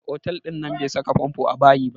Mai otal ɗin nan bai saka famfo a bayi ba